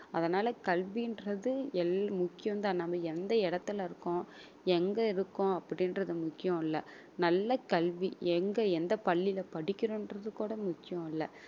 அதனால கல்வின்றது எல்~ முக்கியம் தான் நம்ம எந்த இடத்துல இருக்கோம் எங்க இருக்கோம் அப்படின்றது முக்கியம் இல்லை நல்ல கல்வி எங்க எந்த பள்ளியில படிக்கிறோம்ன்றது கூட முக்கியம் இல்லை